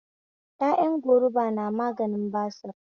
Ƴaƴan goruba na maganin basir